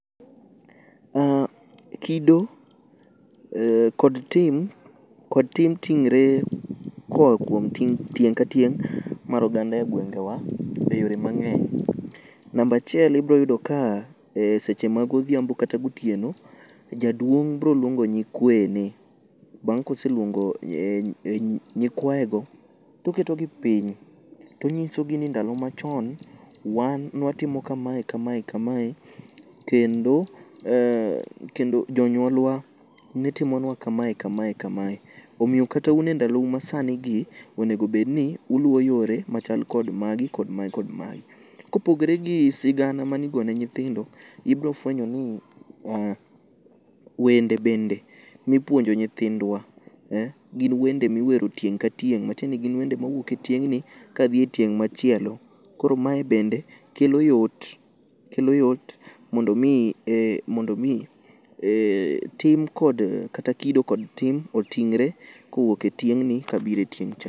Kido kod tim ting're koa kuom tieng' ka tieng' mar oganda e gwengewa e yore mang'eny. Namba achiel ibro yudo ka seche magodhiambo kata gotieno, jaduong' broluongo nyikweyene. Bang' koseluongo nyikwayogo toketogi piny tonyisogi ni ndalo machon wan nwatimo kamae kamae kamae, kendo jonyuolwa ne timonwa kamae kamae kamae. Omiyo kata un e ndalou masanigi onego bed ni uluwo yore machal kod magi kod mae kod mae. Kopogore gi sigana mane igone nyithindo, ibrofwenyo ni wende bende nipuonjo nyithindwa eh, gin wende miwero tieng' ka tieng' matiende ni gin wende mawuok e tieng'ni kadhi e tieng' machielo. Koro mae bende kelo yot mondo omi tim kod kata kido kod tim oting're kawuok e tieng'ni kabiro e tieng'cha.